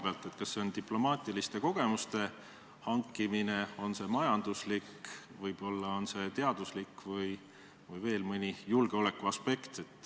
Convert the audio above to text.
Kas eesmärk on diplomaatiliste kogemuste hankimine või on tegu majandusliku, teadusliku või julgeolekulise ambitsiooniga?